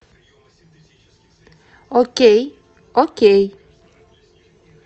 окей окей